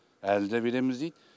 әлі де береміз дейді